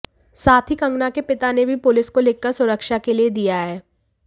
साथ ही कंगना के पिता ने भी पुलिस को लिखकर सुरक्षा के लिए दिया है